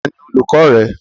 Tani olùkọ rẹ?